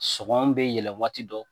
Sɔngɔ bɛ yɛlɛn waati dɔw